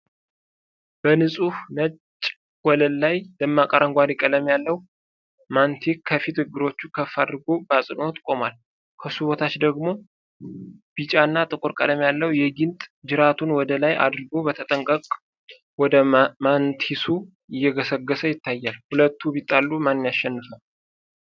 በንጹህ ነጭ ወለል ላይ፣ ደማቅ አረንጓዴ ቀለም ያለው ማንቲስ ከፊት እግሮቹን ከፍ አድርጎ በአጽንዖት ቆሟል። ከሱ በታች ደግሞ ቢጫና ጥቁር ቀለም ያለው ጊንጥ ጅራቱን ወደ ላይ አድርጎ በተጠንቀቅ ወደ ማንቲሱ እየገሰገሰ ይታያል። ሁለቱ ቢጣሉ ማን ያሸንፋል?